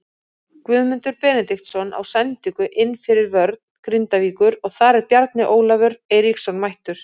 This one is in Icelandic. Guðmundur Benediktsson á sendingu inn fyrir vörn Grindavíkur og þar er Bjarni Ólafur Eiríksson mættur.